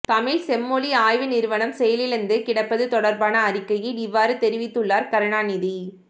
தமிழ்ச் செம்மொழி ஆய்வு நிறுவனம் செயலிழந்து கிடப்பதுதொடர்பான அறிக்கையில் இவ்வாறு தெரிவித்துள்ளார் கருணாநிதி